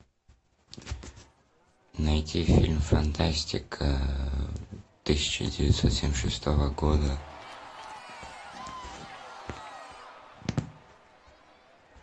найти фильм фантастика тысяча девятьсот семьдесят шестого года